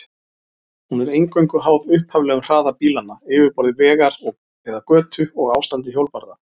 Hún er eingöngu háð upphaflegum hraða bílanna, yfirborði vegar eða götu og ástandi hjólbarða.